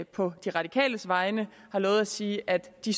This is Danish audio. på de radikales vegne har lovet at sige at de